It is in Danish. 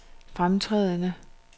fremtrædende